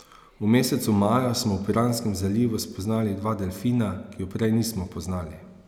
V mesecu maju smo v Piranskem zalivu spoznali dva delfina, ki ju prej nismo poznali.